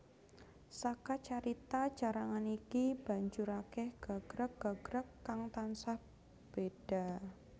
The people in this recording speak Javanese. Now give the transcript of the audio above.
Saka carita carangan iki banjur akèh gagrag gagrag kang tansah béda